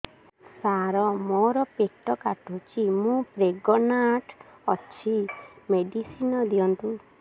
ସାର ମୋର ପେଟ କାଟୁଚି ମୁ ପ୍ରେଗନାଂଟ ଅଛି ମେଡିସିନ ଦିଅନ୍ତୁ